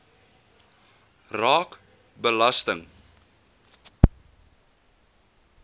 raak belasting